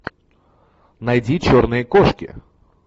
найди черные кошки